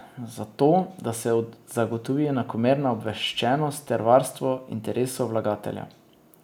Zato, da se zagotovi enakomerna obveščenost ter varstvo interesov vlagateljev.